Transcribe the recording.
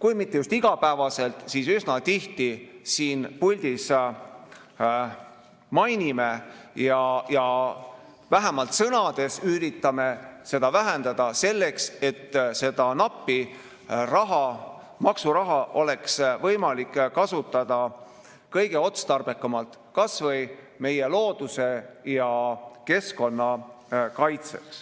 kui mitte just iga päev, siis üsna tihti siin puldis mainime, ja vähemalt sõnades üritame neid vähendada, et seda nappi raha, maksuraha oleks võimalik kasutada kõige otstarbekamalt kas või meie looduse ja keskkonna kaitseks.